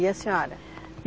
E a senhora?